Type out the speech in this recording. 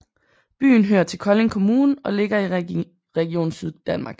Byen hører til Kolding Kommune og ligger i Region Syddanmark